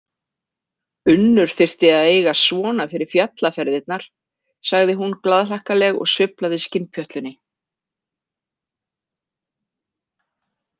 Unnur þyrfti að eiga svona fyrir fjallaferðirnar, sagði hún glaðhlakkaleg og sveiflaði skinnpjötlunni.